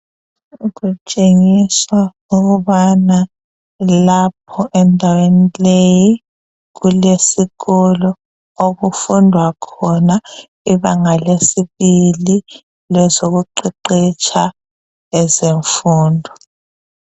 Kutshengiswa ukubana lapha endaweni leyi kulesikolo sokufundwa khona ibanga lesibili lwezokuqeqetsha ezemfundo.